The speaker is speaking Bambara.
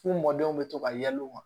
F'u mɔdenw bɛ to ka yɛlɛ u ma